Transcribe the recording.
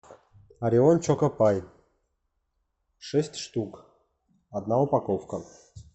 орион чокопай шесть штук одна упаковка